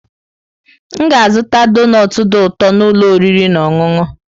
M ga-azụta donut dị ụtọ n'ụlọ oriri na ọṅụṅụ.